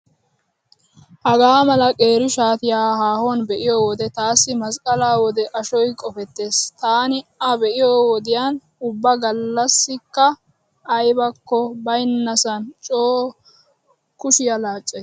Hagaa mala qeeri shaatiyaa haahuwan be'iyo wode taassi masqqalaa wode ashoy qofettees. Taani a be'iyo wodiyan ubba gallasikka aybakko baynnasan coo kushiya laaccays.